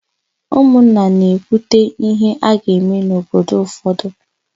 Ụmụnna na-ekwute íhé a ga-eme n'obodo ụfọdụ.